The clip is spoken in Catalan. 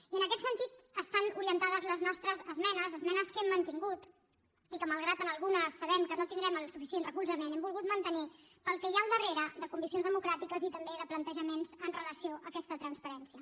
i en aquest sentit estan orientades les nostres esmenes esmenes que hem mantingut i que malgrat que en algunes sabem que no tindrem el suficient recolzament hem volgut mantenir pel que hi ha al darrere de conviccions democràtiques i també de plantejaments en relació amb aquesta transparència